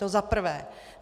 To za prvé.